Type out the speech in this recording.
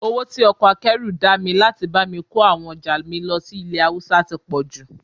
Owó tí ọkọ̀ akẹ́rù dá mi láti bá mi kó àwọn ọjà mi lọ sí ilẹ̀ Haúsá tí pọ̀jù